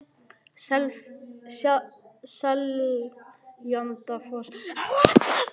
Seljalandsfoss, Skógafoss og Írárfoss.